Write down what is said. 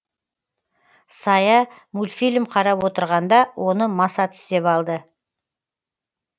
сая мультфильм қарап отырғанда оны маса тістеп алды